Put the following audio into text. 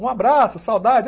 Um abraço, saudade.